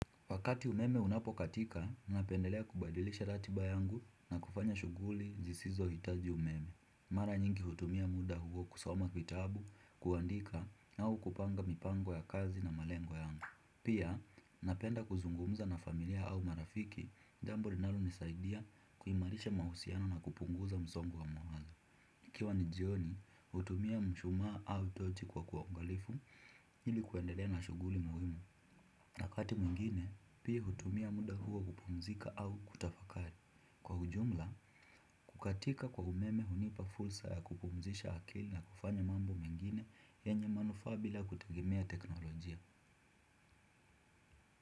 Wakati umeme unapokatika, ninapendelea kubadilisha ratiba yangu na kufanya shughuli jisizohitaji umeme. Mara nyingi hutumia muda huo kusoma vitabu, kuandika, au kupanga mipango ya kazi na malengo yangu. Pia, napenda kuzungumza na familia au marafiki, jambo linalonisaidia kuimarisha mahusiano na kupunguza msongo wa mawazo. Ikiwa ni jioni, hutumia mshumaa au tochi kwa uangalifu, ili kuendelea na shughuli muhimu. Na wakati mwingine, pia hutumia muda huo kupumzika au kutafakari. Kwa ujumla, kukatika kwa umeme hunipa fursa ya kupumzisha akili na kufanya mambo mengine yenye manufaa bila kutegemea teknolojia.